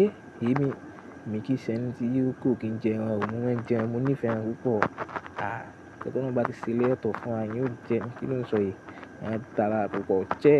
Eh! Èyí mi, mi kì í ṣe ẹni tí yóò kò kí n jẹ ẹran ò, mo máa ń jẹ ẹran, mo nífẹ̀ẹ́ ẹran púpọ̀. Ah! Tí ẹ tó bá ti ṣẹlẹ̀ ètò fún wa, yóò jẹ ẹran, kí ni ó ń sọ èyí? Ẹ tààrà púpọ̀. Ṣé